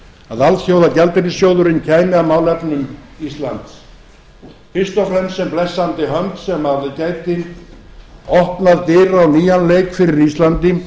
að alþjóðagjaldeyrissjóðurinn kæmi að málefnum íslands fyrst og fremst sem blessandi hönd sem gæti opnað dyr á nýjan leik fyrir íslandi